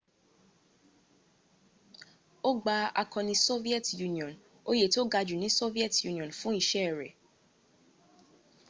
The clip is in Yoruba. o gba akọni soviet union oyè tó ga jú ní soviet union fún iṣẹ́ rẹ̀